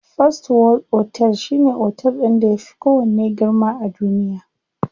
First world otel shine otel ɗin da yafi kowanne girma a duniya.